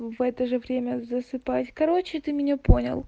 в это же время засыпать короче ты меня понял